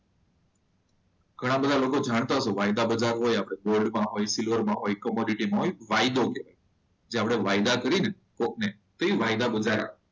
ઘણા બધા લોકો જાણતા હશો વાયદા બધા હોય આપણે ગોલ્ડ માં હોય સિલ્વર માં હોય વાયદો કહેવાય.